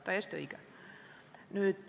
Täiesti õige.